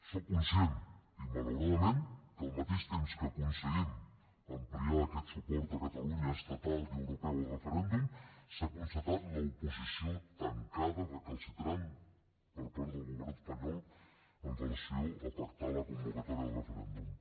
soc conscient que malauradament al mateix temps que aconseguim ampliar aquest suport a catalunya estatal i europeu al referèndum s’ha constatat l’oposició tancada recalcitrant per part del govern espanyol amb relació a pactar la convocatòria del referèndum